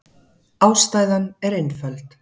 Ástæðan er einföld.